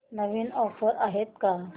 नवीन offers आहेत का